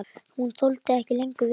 Hún þoldi ekki lengur við.